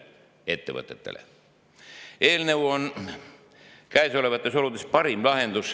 Eelnõu on käesolevates oludes parim lahendus.